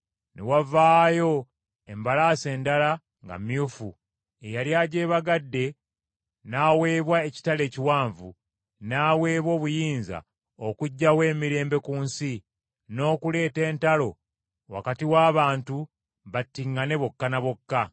Ne wavaayo embalaasi endala nga myufu, eyali agyebagadde n’aweebwa ekitala ekiwanvu, n’aweebwa n’obuyinza okuggyawo emirembe ku nsi, n’okuleeta entalo wakati w’abantu, battiŋŋane bokka na bokka.